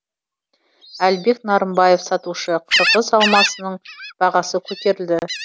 әлібек нарымбаев сатушы қырғыз алмасының бағасы көтерілді